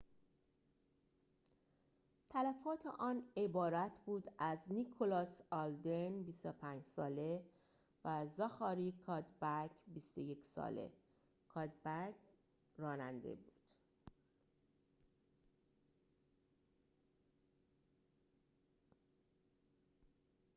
تلفات آن عبارت بود از نیکلاس آلدن ۲۵ ساله و زاخاری کادبک ۲۱ ساله کادبک راننده بود